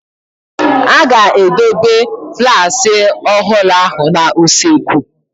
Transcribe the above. A ga-edobe flaaski ọhụrụ ahụ n'usekwu.